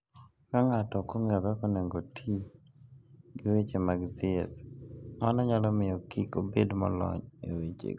Ka ng'ato ok ong'eyo kaka onego oti gi weche mag thieth, mano nyalo miyo kik obed molony e wechego.